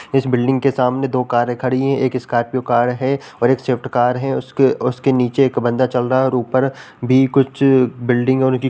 इस बिल्डिंग के सामने दो कारें खड़ी हैं। एक स्कॉर्पियो कार है और एक स्विफ्ट कार है उसके उसके नीचे एक बंदा चल रहा है और ऊपर भी कुछ बिल्डिंग और --